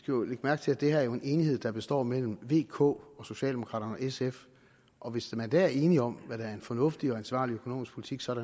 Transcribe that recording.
jo lægge mærke til at det her er en enighed der består mellem v k og socialdemokraterne og sf og hvis man der er enige om hvad der er en fornuftig og ansvarlig økonomisk politik så